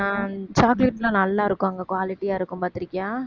ஆஹ் chocolate எல்லாம் நல்லாருக்கும் அங்க quality ஆ இருக்கும் பாத்திருக்கியா